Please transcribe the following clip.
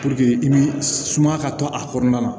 i bi sumaya ka to a kɔnɔna na